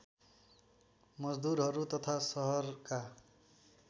मजदुरहरू तथा सहरका